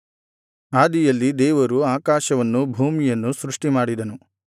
ಆದಿಯಲ್ಲಿ ದೇವರು ಆಕಾಶವನ್ನು ಭೂಮಿಯನ್ನು ಸೃಷ್ಟಿಮಾಡಿದನು